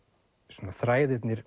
svona þræðirnir